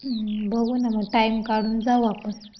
बघू ना मग टाइम काढून जाऊ ना आपण.